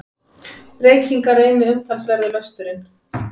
Reykingar eini umtalsverði lösturinn.